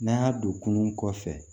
N'an y'a don kunun kɔfɛ